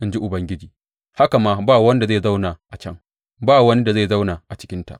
in ji Ubangiji haka ma ba wanda zai zauna a can; ba wani da zai zauna a cikinta.